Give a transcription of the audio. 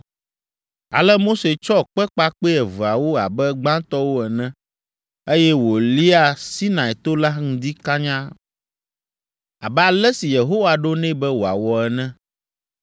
Ale Mose tsɔ kpe kpakpɛ eveawo abe gbãtɔwo ene, eye wòlia Sinai to la ŋdi kanya, abe ale si Yehowa ɖo nɛ be wòawɔ ene.